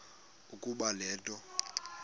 ukuba le nto